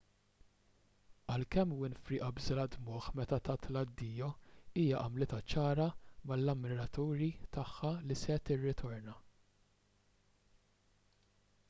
għalkemm winfrey qabżilha d-dmugħ meta tat l-addijo hija għamlitha ċara mal-ammiraturi tagħha li se tirritorna